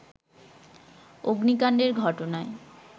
অগ্নিকাণ্ডের ঘটনায়